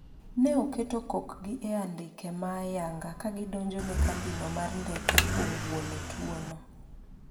ne oketo kokgi e andike ma ayanga kagi donjone kambino mar ndeke kuom buono tuo no